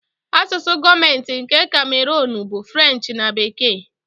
Asụsụ gọọmentị nke Kamerunu bụ French na Bekee